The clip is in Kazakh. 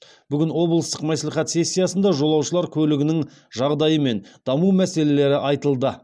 бүгін облыстық мәслихат сессиясында жолаушылар көлігінің жағдайы мен даму мәселелері айтылды